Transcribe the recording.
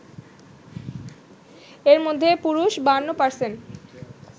এর মধ্যে পুরুষ ৫২%